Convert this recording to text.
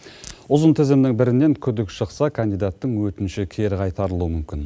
ұзын тізімнің бірінен күдік шықса кандидаттың өтініші кері қайтарылуы мүмкін